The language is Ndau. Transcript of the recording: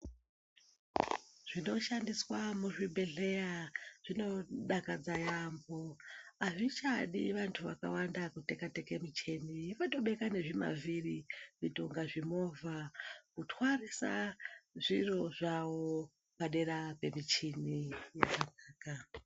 Zvinoshandiswa muzvibhedhleya zvinodakadza yaambo azvichadi vanthu vakawanda kutekateka michini votobeka ngezvimavhiri kuita kunge zvimovha kutwarisa zviro zvavo padera pemichini.